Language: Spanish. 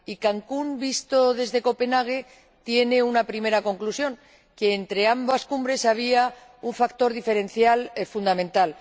Y Cancún visto desde Copenhague tiene una primera conclusión, y es que entre ambas cumbres había un factor diferencial fundamental.